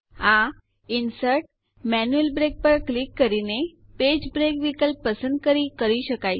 આ ઇન્સર્ટ જીટીજીટી manual break click કરીને પેજ બ્રેક વિકલ્પ પસંદ કરી કરી શકાય છે